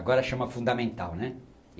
Agora chama fundamental, né.